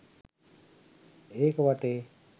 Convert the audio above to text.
ඒක වටේ